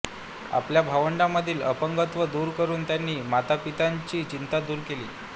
आपल्या भावंडांमधील अपंगत्व दूर करून त्यांनी मातापित्यांची चिंता दूर केली